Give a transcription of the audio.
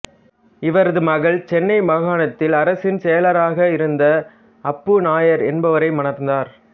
இவரது மகள் சென்னை மாகாணத்தில் அரசின் செயலாளராக இருந்த அப்பு நாயர் என்பவரை மணந்தார்